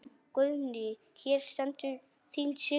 Guðný: Hér stendur þín Sigrún?